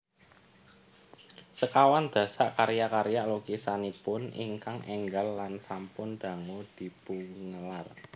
Sekawan dasa karya karya lukisanipun ingkang énggal lan sampun dangu dipungelar